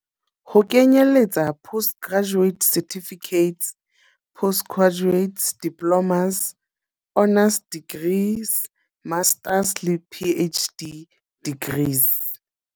Ho kenyeletsa postgraduate certificates, postgraduate diplo mas, honours degrees, masters le PhD degrees.